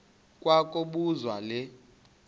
kwa kobuzwa le